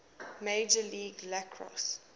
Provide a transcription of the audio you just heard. major league lacrosse